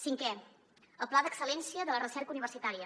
cinquena el pla d’excel·lència de la recerca universitària